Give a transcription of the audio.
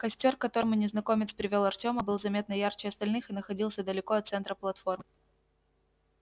костёр к которому незнакомец привёл артёма был заметно ярче остальных и находился далеко от центра платформ